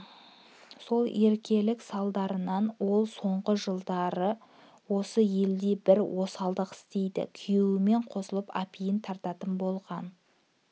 сол еркелік салдарынан ол соңғы жылдар осы елде бір осалдық істейді күйеуімен қосылып апиын тартатын болған